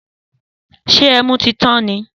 Sẹ ẹmú ti tàn ní?